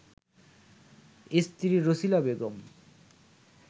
স্ত্রী রছিলা বেগম